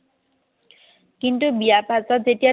কিন্তু বিয়াৰ পাছত যেতিয়া